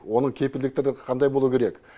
оның кепілдіктері қандай болуы керек